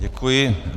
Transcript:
Děkuji.